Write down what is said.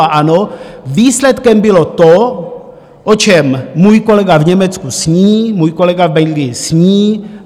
A ano, výsledkem bylo to, o čem můj kolega v Německu sní, můj kolega v Belgii sní.